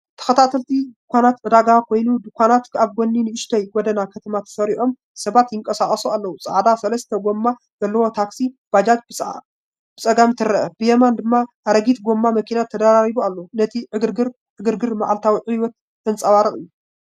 ተኸታታሊ ድኳናት ዕዳጋ ወይ ድኳናት ኣብ ጎኒ ንእሽቶ ጎደና ከተማ ተሰሪዖም። ሰባት ይንቀሳቐሱ ኣለዉ፡ ጻዕዳ ሰለስተ ጎማ ዘለዋ ታክሲ (ባጃጅ) ብጸጋም ትረአ፡ ብየማን ድማ ኣረጊት ጎማ መኪና ተደራሪቡ ኣሎ። ነቲ ዕግርግርን ዕግርግርን መዓልታዊ ህይወት ዘንጸባርቕ እዩ።